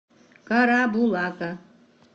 карабулака